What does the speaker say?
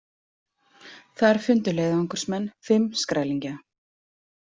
Þar fundu leiðangursmenn fimm skrælingja.